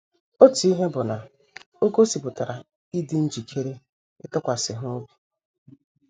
Otu ihe bụ na o gosipụtara ịdị njikere ịtụkwasị ha obi.